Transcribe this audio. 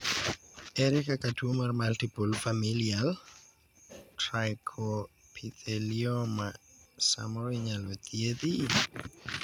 ere kaka tuo mar multiple familial trichoepithelioma samoro inyalo thiedhi?